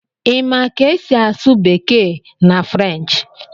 Ị ma ka esi asụ bekee na French